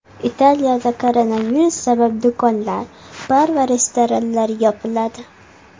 Italiyada koronavirus sabab do‘konlar, bar va restoranlar yopiladi .